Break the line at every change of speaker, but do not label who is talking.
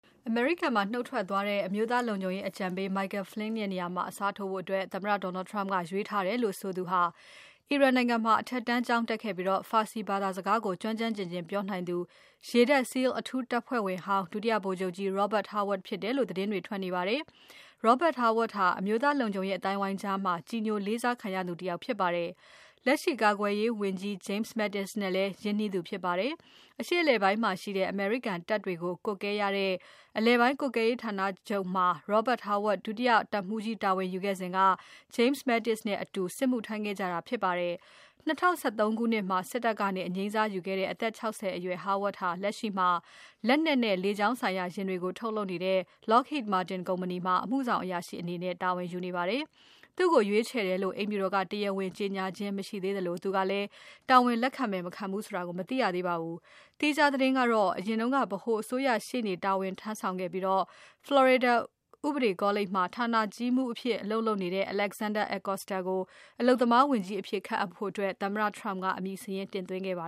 အမေရိကန်မှာ နုတ်ထွက်သွားတဲ့ အမျိုးသားလုံခြုံရေးအကြံပေး Michael Flynn ရဲ့နေရာမှာ အစားထိုးဖို့ သမ္မတ Donald Trump ကရွေးထားတယ်လို့ ဆိုသူဟာ အီရန်မှာအထက်တန်းကျောင်းတက်ခဲ့ပြီး Farsi ဘာသာစကားကို ကျွမ်းကျွမ်းကျင်ကျင်ပြောနိုင်သူ ရေတပ် SEAL အထူးတပ်ဖွဲ့ဝင်ဟောင်း ဒုတိယရေတပ်ဗိုလ်ချုပ်ကြီး Robert Harward ဖြစ်တယ်လို့ သတင်းတွေ ထွက်နေပါတယ်။ Robert Harward ဟာ အမျိုးသားလုံခြုံရေး အသိုင်းအဝိုင်းကြားမှာ ကြည်ညိုလေးစားခံရသူတယောက်ဖြစ်ပါတယ်။ လက်ရှိကာကွယ်ရေးဝန်ကြီး James Mattis နဲ့လည်း ရင်းနှီးသူဖြစ်ပါတယ်။ အရှေ့အလယ်ပိုင်းမှာရှိတဲ့ အမေရိကန်တပ်တွေကို ကွပ်ကဲရတဲ့ အလယ်ပိုင်းကွပ်ကဲရေးဌာနချုပ်မှာ Robert Harward ဒုတိယတပ်မှူးကြီးတာဝန်ယူခဲ့စဉ်က James Mattis နဲ့အတူစစ်မှုထမ်းခဲ့ကြတာဖြစ်ပါတယ်။ ၂၀၁၃ ခုနှစ်မှာ စစ်တပ်ကနေ အငြိမ်းစားယူခဲ့တဲ့ အသက် ၆၀ အရွယ် Harward ဟာ လက်ရှိမှာ လက်နက်နဲ့ လေကြောင်းဆိုင်ရာ ယာဉ်တွေထုတ်လုပ်တဲ့ Lockheed Martin ကုမ္ပဏီမှာ အမှုဆောင်အရာရှိအနေနဲ့ တာဝန်ယူနေပါတယ်။ သူ့ကိုရွေးချယ်တယ်လို့ အိမ်ဖြူတော်က တရားဝင် ကြေညာခြင်းမရှိသေးသလို သူကလည်း တာဝန်လက်ခံမယ် မခံဘူးဆိုတာ မသိရသေးပါဘူး။ သီခြားသတင်းကတော့ အရင်ကပြည်ထောင်စုအစိုးရရှေ့နေတာဝန်ထမ်းဆောင်ခဲ့ပြီး Florida ဥပဒေကောလိပ်မှာ ဌာနကြီးမှူးအဖြစ်အလုပ်လုပ်နေတဲ့ Alexander Acosta ကို အလုပ်သမားဝန်ကြီးအဖြစ်ခန့်အပ်ဖို့ သမ္မတ Trump ကအမည်စာရင်းတင်သွင်းခဲ့ပ
ါ